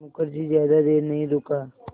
मुखर्जी ज़्यादा देर नहीं रुका